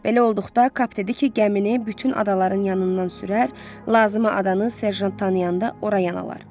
Belə olduqda Kap dedi ki, gəmini bütün adaların yanından sürər, lazımı adanı serjant tanıyanda ora yan alar.